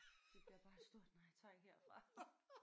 Det bliver bare et stort nej tak herfra